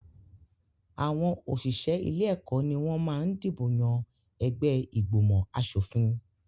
Àwọn òṣìṣẹ́ ilé-ẹ̀kọ́ ni wọ́n máa ń dìbò yàn ẹgbẹ́ ìgbòmọ̀-aṣòfin.